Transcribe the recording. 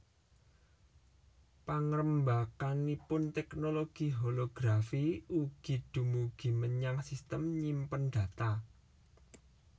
Pangrembakanipun teknologi holografi ugi dumugi menyang sistem nyimpen data